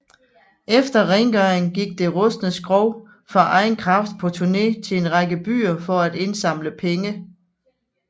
Efter rengøring gik det rustne skrog for egen kraft på turné til en række byer for at indsamle penge